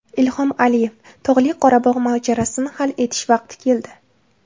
Ilhom Aliyev: Tog‘li Qorabog‘ mojarosini hal etish vaqti keldi.